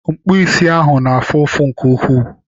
Mkpụ isi ahụ na-afụ ụfụ nke ukwuu